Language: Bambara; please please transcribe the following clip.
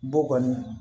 Bɔ kɔni